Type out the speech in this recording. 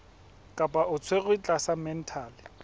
kapa o tshwerwe tlasa mental